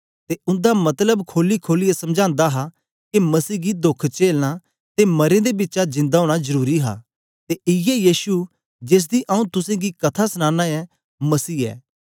ते उन्दा मतलब खोलीखोलियै समझांदा हा के मसीह गी दोख चेलना ते मरें दे बिचा जिन्दा ओना जरुरी हा ते इयै यीशु जेसदी आंऊँ तुसेंगी कथा सनाना ऐं मसीह ऐ